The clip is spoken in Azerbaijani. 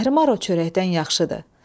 Zəhrimar o çörəkdən yaxşıdır.